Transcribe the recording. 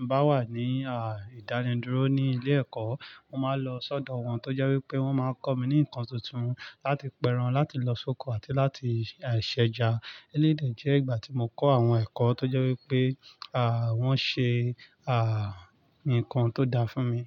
n bá wà ní, à, ìdánidúró ní ilé ẹ̀kọ́, mo máa ń lọ sọ́dọ̀ wọn tó jẹ́ wí pé wọ́n máa ń kọ́ mi ní ǹkan tuntun láti pẹ́ran, láti lọ sóko àti láti, ài, ṣẹ̀ja. Eléyii dẹ́ je ìgbà tí mo kọ́ àwọn ẹ̀kọ́ tó jẹ́ wí pé, à, wọ́n ṣe, à, ǹkan tó dá fún mi.